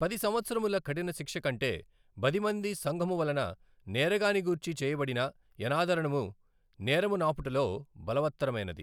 పది సంవత్సరముల కఠినశిక్ష కంటె బదిమంది సంఘమువలన నేరగాని గూర్చి చేయ బడిన యనాదరణము నేరము నాపుటలో బలవత్తరమైనది.